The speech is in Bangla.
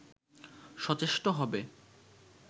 সচেষ্ট হবে